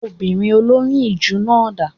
Obìnrin olóyún ìju náà dà?